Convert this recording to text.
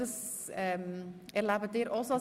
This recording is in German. Ich glaube, das erleben Sie auch so.